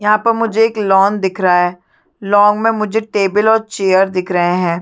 यहाँ पर मुझे एक लॉन दिख रहा है लॉन में मुझे टेबल और चेयर दिख रहे है।